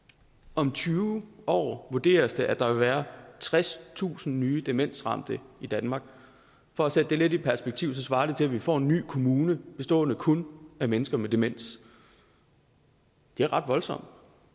om tyve år vurderes det at der vil være tredstusind nye demensramte i danmark for at sætte det lidt i perspektiv svarer det til at vi får en ny kommune bestående kun af mennesker med demens det er ret voldsomt